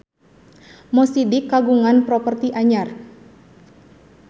Mo Sidik kagungan properti anyar